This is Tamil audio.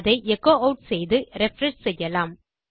அதை எச்சோ ஆட் செய்து ரிஃப்ரெஷ் செய்யலாம்